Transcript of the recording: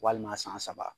Walima san saba